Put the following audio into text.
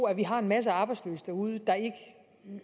at vi har masser af arbejdsløse derude der ikke